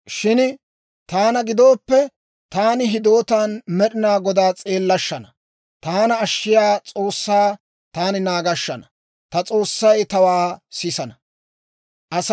Shin taana gidooppe, taani hidootaan Med'ina Godaa s'eellashshana; taana ashshiyaa S'oossaa taani naagashshana; ta S'oossay tawaa sisana.